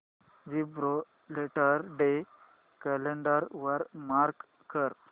Gibraltar day calendar वर mark कर